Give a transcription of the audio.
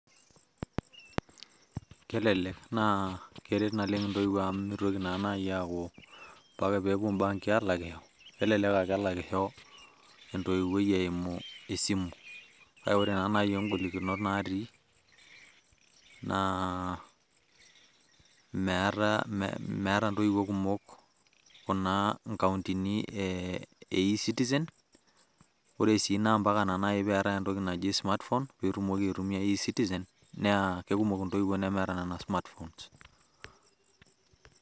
Kelelek naa keret naleng' intoiwuo amu mitoki na nai aku mpaka pepuo banki alakisho, elelek ake elakisho entoiwuoi eimu esimu. Kake ore ta nai igolikinot natii, naa meeta intoiwuo kumok inkauntini e e-citizen. Ore si nai na mpaka peetae entoki naji smart phone pitumoki aitumia e-citizen, naa kekumok intoiwuo nemeeta nena smartphones.